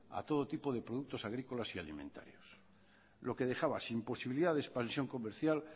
a todo tipo de productos agrícolas y alimentarios lo que dejaba sin posibilidad de expansión comercial